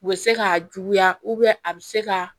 U bɛ se k'a juguya a bɛ se ka